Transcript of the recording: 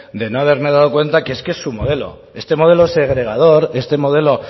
de no haberme dado cuenta que es que es su modelo este modelo segregador este modelo